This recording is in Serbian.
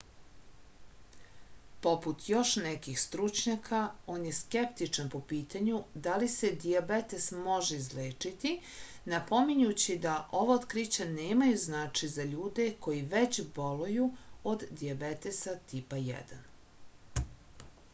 poput još nekih stručnjaka on je skeptičan po pitanju da li se dijabetes može izlečiti napominjući da ova otkrića nemaju značaj za ljude koji već boluju od dijabetesa tipa 1